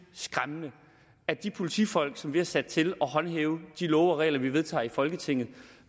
skræmmende at de politifolk som vi har sat til at håndhæve de love og regler vi vedtager i folketinget